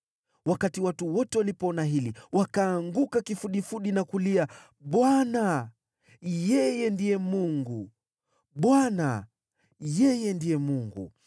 Wakati watu wote walipoona hili, wakaanguka kifudifudi na kulia, “ Bwana : yeye ndiye Mungu! Bwana : yeye ndiye Mungu!”